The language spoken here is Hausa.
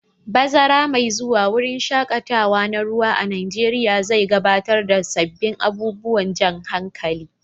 Bazara mai zuwa, wurin shaƙatawa na ruwa a Najeriya zai gabatar da sabbin abubuwan jan hankali.